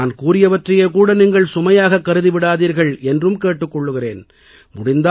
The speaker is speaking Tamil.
ஆனால் நான் கூறியவற்றையே கூட நீங்கள் சுமையாகக் கருதி விடாதீர்கள் என்றும் கேட்டுக் கொள்கிறேன்